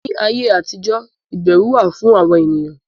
Ní ayé àtijọ́ Ìbẹrù wà fún àwọn ènìyàn